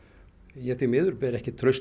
ég því miður ber ekki traust